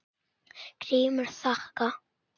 GRÍMUR: Þakka.